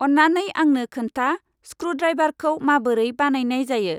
अन्नानै आंनो खोन्था स्क्रुड्राइभारखौ माबोरै बानायनाय जायो?